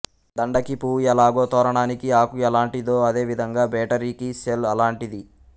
దండకి పువ్వు ఎలాగో తోరణానికి ఆకు ఎలాంటిదో అదే విధంగా బేటరీకి సెల్ అలాంటిది